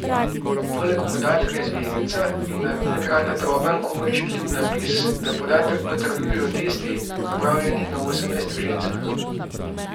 Poleg podatka je zvezdica in na dnu ekrana droben, komaj čitljiv napis, da podatek potrjujejo testi, opravljeni na osemnajstih ženskah.